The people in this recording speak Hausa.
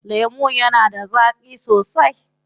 Lemon yana da zaƙi sosai.